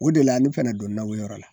O de la ne fɛnɛ donna o yɔrɔ la.